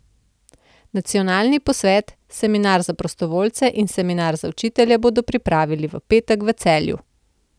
Nacionalni posvet, seminar za prostovoljce in seminar za učitelje bodo pripravili v petek v Celju.